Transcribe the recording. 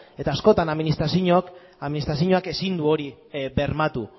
eta askotan administrazioak ezin du hori bermatu